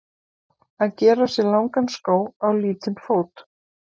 Að gera sér langan skó á lítinn fót